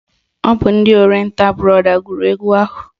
Ọ bụ ndị Orienta brọda gụrụ egwu ahụ?